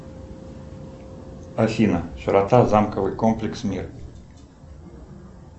афина широта замковый комплекс мир